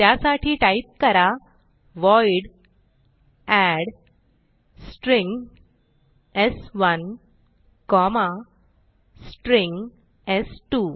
त्यासाठी टाईप करा void add string स्1 कॉमा स्ट्रिंग स्2